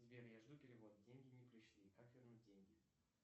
сбер я жду перевод деньги не пришли как вернуть деньги